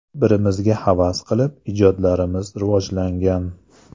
Bir-birimizga havas qilib ijodlarimiz rivojlangan.